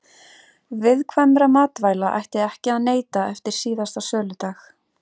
Viðkvæmra matvæla ætti ekki að neyta eftir síðasta söludag.